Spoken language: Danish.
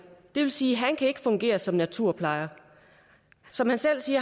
det vil sige at han ikke kan fungere som naturplejer som han selv sagde